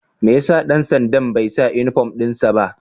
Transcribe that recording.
Mai ya sa dan sanda'n bai sa uniform din sa ba?